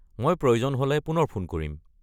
মই প্ৰয়োজন হ'লে পুনৰ ফোন কৰিম।